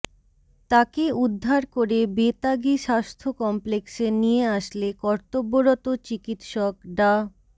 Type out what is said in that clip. তাকে উদ্ধার করে বেতাগী স্বাস্থ্য কমপ্লেক্সে নিয়ে আসলে কর্তব্যরত চিকিৎসক ডা